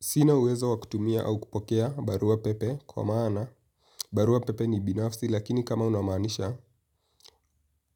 Sina uwezo wa kutumia au kupokea barua pepe kwa maana barua pepe ni binafsi lakini kama unaamanisha